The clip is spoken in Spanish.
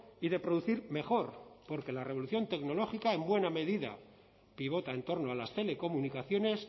y de producir mejor porque la revolución tecnológica en buena medida pivota en torno a las telecomunicaciones